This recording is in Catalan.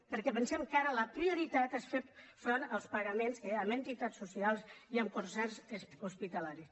perquè pensem que ara la prioritat és fer front als pagaments a entitats socials i a concerts hospitalaris